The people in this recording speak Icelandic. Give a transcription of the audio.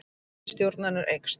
Fylgi stjórnarinnar eykst